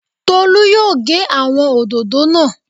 Tolu yóò gé àwọn òdòdó náà